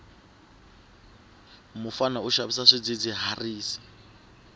mufana u xavisa swidzidziharisi